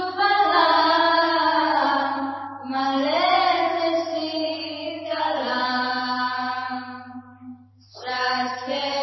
वन्दे मातरम् वन्दे मातरम्